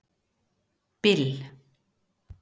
Bill